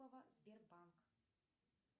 сбербанк